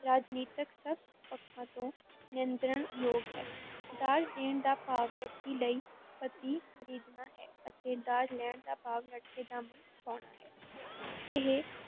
ਰਾਜਨੀਤਕ, ਸਭ ਪੱਖਾਂ ਤੋਂ ਨਿੰਦਣਯੋਗ ਹੈ, ਦਾਜ ਦੇਣ ਦਾ ਭਾਵ ਲੜਕੀ ਲਈ ਪਤੀ ਖ਼ਰੀਦਣਾ ਹੈ ਅਤੇ ਦਾਜ ਲੈਣ ਦਾ ਭਾਵ ਲੜਕੇ ਦਾ ਮੁੱਲ ਪੁਆਉਣਾ ਹੈ ਇਹ